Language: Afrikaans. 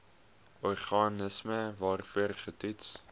organisme waarvoor getoets